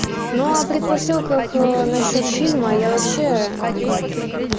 ну а предпосылках насчёт фильма я вообще ну